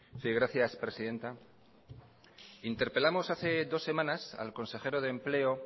sí gracias presidenta interpelamos hace dos semanas al consejero de empleo